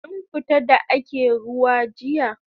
Kin fita da ake ruwa jiya?